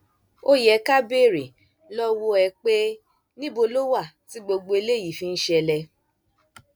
ó yẹ ká béèrè lọwọ ẹ pé níbo ló wà tí gbogbo eléyìí fi ń ṣẹlẹ